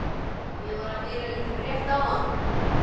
Ég var að heyra í þeim rétt áðan.